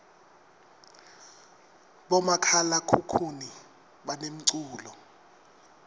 bomakhalakhukhuni banemculo